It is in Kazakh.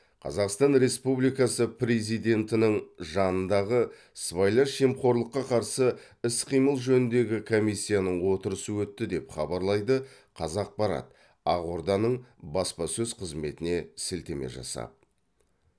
қазақстан республикасы президентінің жанындағы сыбайлас жемқорлыққа қарсы іс қимыл жөніндегі комиссияның отырысы өтті деп хабарлайды қазақпарат ақорданың баспасөз қызметіне сілтеме жасап